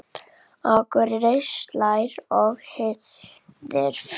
Akurinn slær og hirðir féð.